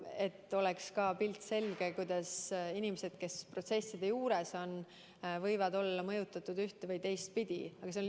Et oleks ka pilt, kuidas inimesed, kes protsesside juures on, võivad olla ühte- või teistpidi mõjutatud.